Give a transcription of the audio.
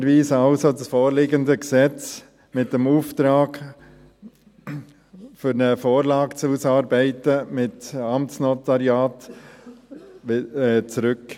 Wir weisen also das vorliegende Gesetz zurück, mit dem Auftrag, eine Vorlage mit Amtsnotariat auszuarbeiten.